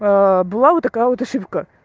была вот такая вот ошибка